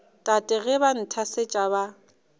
tate ge ba nthasetša ba